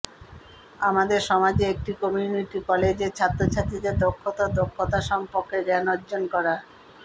আমাদের সমাজে একটি কমিউনিটি কলেজের ছাত্রছাত্রীদের দক্ষতা ও দক্ষতা সম্পর্কে জ্ঞান অর্জন করা